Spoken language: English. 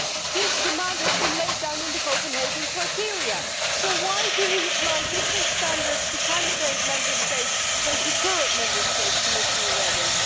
This demand has been laid down in the Copenhagen criteria so why do we apply different standards to candidate states from those applied to current Member States, Commissioner Reding?